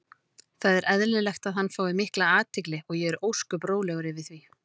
Það er eðlilegt að hann fái mikla athygli og ég er ósköp rólegur yfir því.